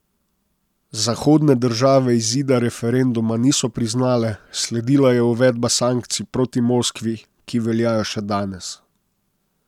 Zahodne države izida referenduma niso priznale, sledila je uvedba sankcij proti Moskvi, ki veljajo še danes.